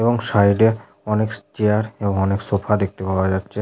এবং সাইড -এ অনেক চেয়ার এবং অনেক সোফা দেখতে পাওয়া যাচ্ছে।